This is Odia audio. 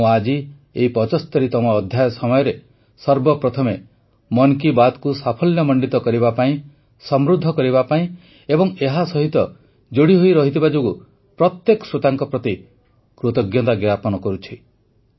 ମୁଁ ଆଜି ଏହି ୭୫ତମ ଅଧ୍ୟାୟ ସମୟରେ ସର୍ବପ୍ରଥମେ ମନ୍ କି ବାତ୍କୁ ସାଫଲ୍ୟମଣ୍ଡିତ କରିବା ପାଇଁ ସମୃଦ୍ଧ କରିବା ପାଇଁ ଏବଂ ଏହାସହିତ ଯୋଡ଼ି ହୋଇ ରହିଥିବା ଯୋଗୁଁ ପ୍ରତ୍ୟେକ ଶ୍ରୋତାଙ୍କ ପ୍ରତି କୃତଜ୍ଞତା ଜ୍ଞାପନ କରୁଛି